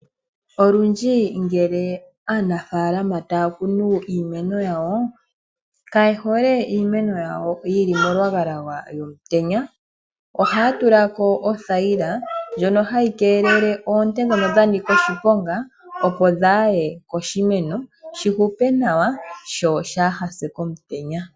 Olundji ngele aanafaalama taya kunu iimeno yawo, ka yehole iimeno yawo yili molwagalwaga lomutenya, ohaya tula ko othayila ndjono hayi keelele oonte dhono dha nika oshiponga opo dhaaye koshimeno, shihupe nawa sho shaaha se komutenya.